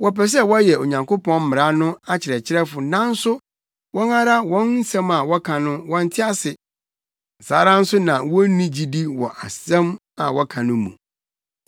Wɔpɛ sɛ wɔyɛ Onyankopɔn mmara no akyerɛkyerɛfo nanso wɔn ara wɔn nsɛm a wɔka no wɔnte ase. Saa ara nso na wonni gyidi wɔ nsɛm a wɔka no mu.